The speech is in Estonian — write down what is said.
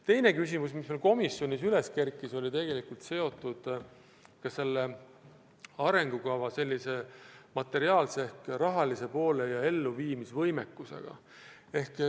Teine küsimus, mis meil komisjonis üles kerkis, oli seotud arengukava materiaalse ehk rahalise poolega ja selle elluviimise võimekusega.